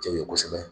Cɛw ye kosɛbɛ